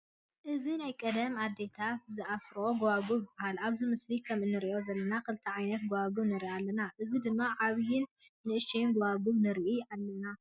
እዚ ናይ ቀደም አዴተሳትና ዝኣስረኦ ጉባጉብ ይባሃል ።ኣብዚ ምስሊ ከም እንሪኦ ዘለና ክልተ ዓይነት ጉባጉብ ንርኢ ኣለና፤ እዚ ድማ ዓብይን ንእሽተይን ጉባጉብ ንርኢ ኣለና።